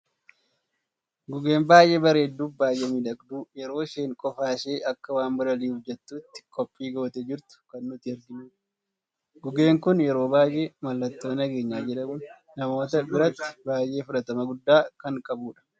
Gugeen baay'ee bareedduu fi baay'ee miidhagdu yeroo isheen qofa ishee akka waan balali'uuf jettutti qophii gootee jirtu kan nuti arginudha. Gugeen kun yeroo baay'ee mallattoo nageenya jedhamun namoota biratti baay'ee fudhatama gudda kan qabdudha.